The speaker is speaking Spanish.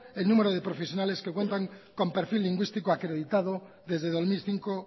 el número de profesionales que cuentan con perfil lingüístico acreditado desde dos mil cinco